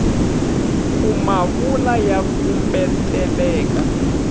ku ma vula ya kumbeteleka